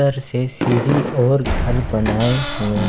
इधर से सीढ़ी और घर बनाए हुए--